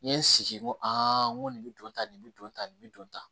N ye n sigi n ko a n ko nin bi tan nin bɛ don tan nin bɛ don tan